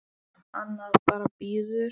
Annað bara bíður.